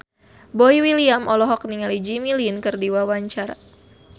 Boy William olohok ningali Jimmy Lin keur diwawancara